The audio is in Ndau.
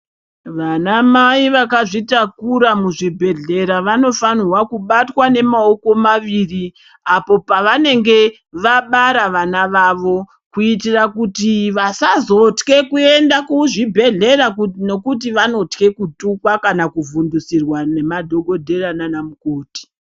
Vana mai vakazvitakura muzvibhedhlera vanofanirwa kubatwa nemaoko maviri apo pavanenge vabara vana vavo kuitira kuti vasazotke kuenda kuzvibhedhlera nekuti vanotka kuvhundisirwa ngemadhokodheya nana mukoti.